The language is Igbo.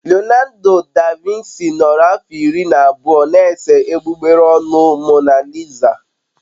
Leonardo da Vinci nọrọ afọ iri na abụọ na-ese egbugbere ọnụ Mona Lisa.